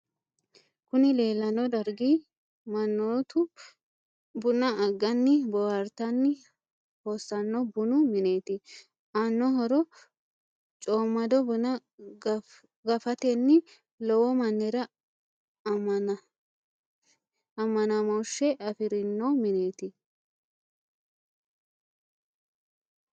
kuni leellanno dargi mannotu buna agganni boohartanni hossanno bunu mineeti. aanno horo coomado buna gafatenni lowo mannira amanamoshe afirino mineti.